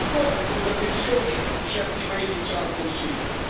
Ma ancora le contraddizioni di certi paesi in seno al Consiglio.